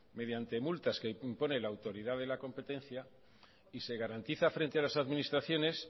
mediante multas que impone la autoridad de la competencia y se garantiza frente a las administraciones